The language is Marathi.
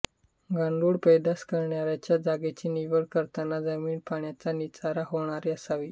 गांडूळ पैदास करण्याच्या जागेची निवड करताना जमीन पाण्याचा निचरा होणारी असावी